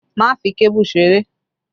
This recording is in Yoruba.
Má fi kébù ṣeré!